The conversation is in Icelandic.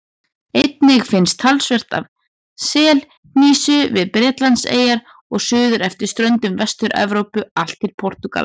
Einnig finnst talsvert af selhnísu við Bretlandseyjar og suður eftir ströndum Vestur-Evrópu allt til Portúgals.